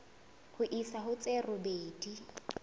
ho isa ho tse robedi